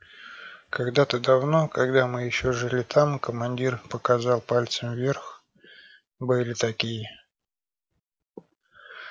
когда-то давно когда мы ещё жили там командир показал пальцем вверх были такие